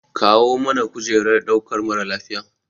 Kawo mana kujerar ɗaukar mara lafiya.